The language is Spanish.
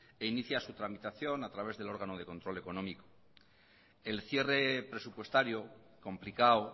e inicia su tramitación a través del órgano de control económico el cierre presupuestario complicado